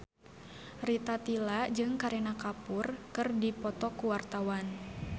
Rita Tila jeung Kareena Kapoor keur dipoto ku wartawan